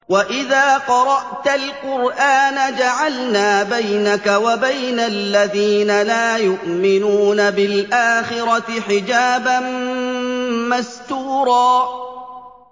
وَإِذَا قَرَأْتَ الْقُرْآنَ جَعَلْنَا بَيْنَكَ وَبَيْنَ الَّذِينَ لَا يُؤْمِنُونَ بِالْآخِرَةِ حِجَابًا مَّسْتُورًا